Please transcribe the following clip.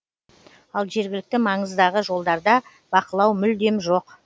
ал жергілікті маңыздағы жолдарда бақылау мүлдем жоқ